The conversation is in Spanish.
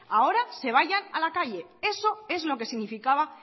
ahora se vayan a la calle eso es lo que significaba